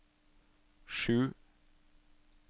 sju